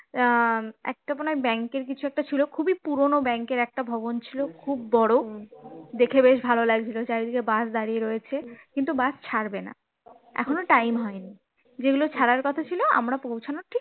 আহ একটা মনে হয় ব্যাংকের কিছু একটা ছিল খুবই পুরনো ব্যাংকের একটা ভবন ছিল খুব বড় দেখলে বেশ ভালো লাগছিল চারিদিকে bus দাঁড়িয়ে আছে কিন্তু bus ছাড়বে না এখনো time হয়নি যেগুলো ছাড়ার কথা ছিল আমরা পৌঁছানো ঠিক